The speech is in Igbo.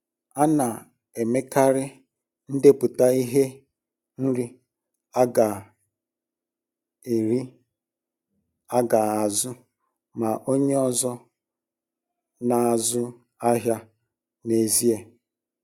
A na-emekarị ndepụta ihe nri aga nri aga azu, ma onye ọzọ na-azụ ahịa n'ezie.